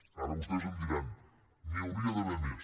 ara vostès em diran n’hi hauria d’haver més